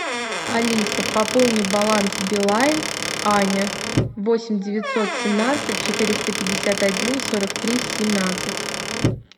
алиса пополни баланс билайн аня восемь девятьсот семнадцать четыреста пятьдесят один сорок три семнадцать